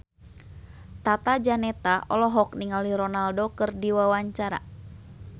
Tata Janeta olohok ningali Ronaldo keur diwawancara